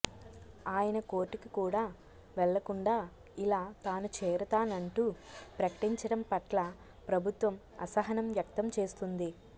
ఆయన కోర్టుకి కూడా వెళ్లకుండా ఇలా తాను చేరుతానంటూ ప్రకటించడం పట్ల ప్రభుత్వం అసహనం వ్యక్తం చేస్తుంది